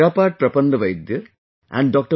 Chirapat Prapandavidya and Dr